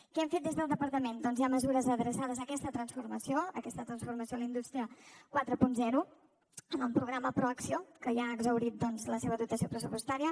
què hem fet des del departament doncs hi ha mesures adreçades a aquesta transformació a aquesta transformació a la indústria quaranta en el programa proacció que ja ha exhaurit la seva dotació pressupostària